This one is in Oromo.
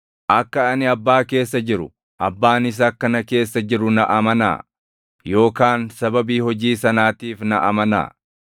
Akka ani Abbaa keessa jiru, Abbaanis akka na keessa jiru na amanaa; yookaan sababii hojii sanaatiif na amanaa.